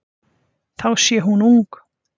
Þá sé hún ung.